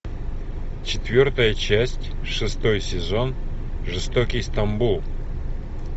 четвертая часть шестой сезон жестокий стамбул